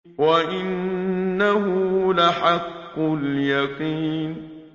وَإِنَّهُ لَحَقُّ الْيَقِينِ